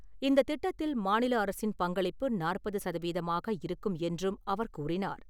இந்தத் திட்டத்தில் மாநில அரசின் பங்களிப்பு நாற்பது சதவீதமாக இருக்கும் என்றும் அவர் கூறினார்.